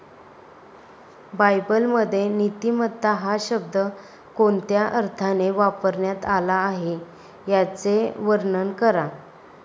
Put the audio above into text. बायबलमध्ये नीतिमत्ता हा शब्द कोणत्या अर्थाने वापरण्यात आला आहे याचे वर्णन करा.